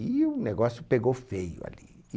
E o negócio pegou feio ali.